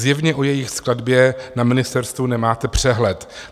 Zjevně o jejich skladbě na ministerstvu nemáte přehled.